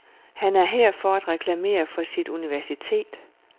Han er her for at reklamere for sit universitet.